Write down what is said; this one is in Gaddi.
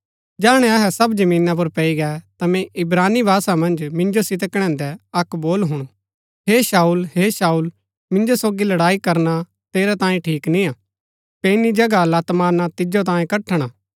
जैहणै अहै सब जमीना पुर पैई गै ता मैंई इब्रानी भाषा मन्ज मिन्जो सितै कणैदैं अक्क बोल हुणु हे शाऊल हे शाऊल मिन्जो सोगी लड़ाई करना तेरै तांई ठीक निय्आ पैईनी जगह लत मारणा तिजो तांयें कठण हा